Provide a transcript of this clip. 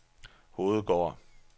Hovedgård